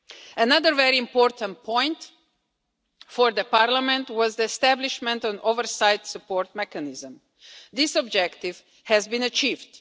Another very important point for Parliament was the establishment of an oversight support mechanism. This objective has been achieved.